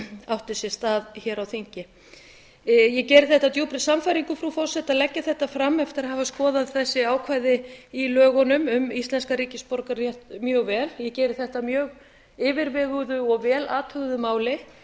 átti sér stað hér á þingi ég geri þetta af djúpri sannfæringu frú forseti að leggja þetta fram eftir að hafa skoðað þessi ákvæði í lögunum um íslenskan ríkisborgararétt mjög vel ég geri þetta af mjög yfirveguðu og vel athuguðu máli